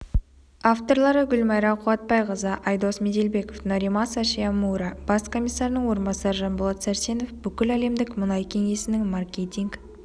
авторлары гүлмайра қуатбайқызы айдос меделбеков норимаса шимомура бас комиссарының орынбасары жанболат сәрсенов бүкіләлемдік мұнай кеңесінің маркетинг